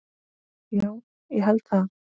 Já, ég held það.